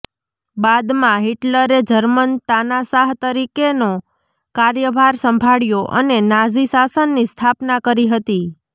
બાદમાં હિટલરે જર્મન તાનાશાહ તરીકેનો કાર્યભાર સંભાળ્યો અને નાઝી શાસનની સ્થાપના કરી હતી